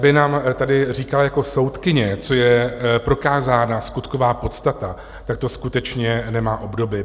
Aby nám tady říkala jako soudkyně, co je prokázaná skutková podstata, tak to skutečně nemá obdoby.